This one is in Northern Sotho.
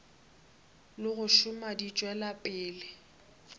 go šoma di tšwela pele